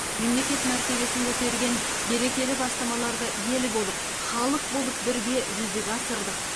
мемлекет мәртебесін көтерген берекелі бастамаларды ел болып халық болып бірге жүзеге асырдық